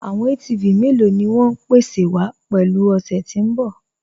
Àwọn ATV mẹ́lọ̀ ni wọn ń pèsè wa pẹ̀lú ọ̀ṣẹ́ tí n bọ̀?